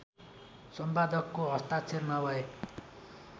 सम्पादकको हस्ताक्षर नभए